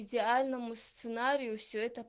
идеальному сценарию все это